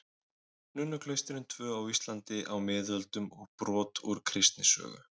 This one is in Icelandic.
Nunnuklaustrin tvö á Íslandi á miðöldum og brot úr kristnisögu.